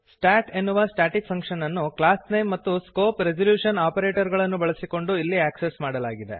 start ಎನ್ನುವ static function ಅನ್ನು class name ಮತ್ತು ಸ್ಕೋಪ್ ರೆಸಲ್ಯೂಶನ್ ಆಪರೇಟರ್ ಗಳನ್ನು ಬಳಸಿಕೊಂಡು ಇಲ್ಲಿ ಆಕ್ಸೆಸ್ ಮಾಡಲಾಗಿದೆ